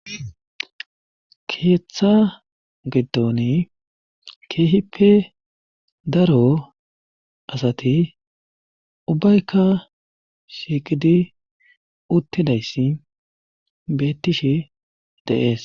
keeththa giddoni keehippe daro asati ubbaykka shiiqidi uttidayssi beettishe deees